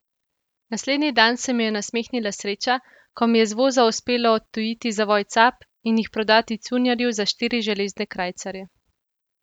Naslednji dan se mi je nasmehnila sreča, ko mi je z voza uspelo odtujiti zavoj cap in jih prodati cunjarju za štiri železne krajcarje.